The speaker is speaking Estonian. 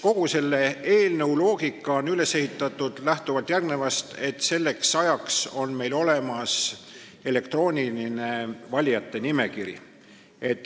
Kogu selle eelnõu loogika on üles ehitatud lähtuvalt sellest, et selleks ajaks on meil olemas elektrooniline valijate nimekiri.